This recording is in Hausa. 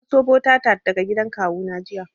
Na anso butter tart daga gidan kawu na jiya